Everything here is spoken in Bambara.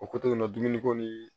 O ko to yen nɔ dumuni ko ni